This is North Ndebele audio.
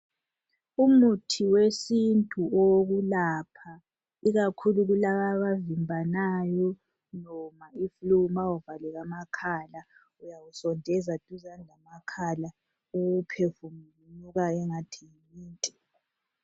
Umuthi wesintu owokulapha. Ikakhulu kulababavimbanayo noma iflue ma uvalekamakhala uyawusondeza duzani lamakhala uwuphefumulunuka engathi yimint.